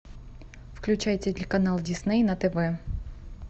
включай телеканал дисней на тв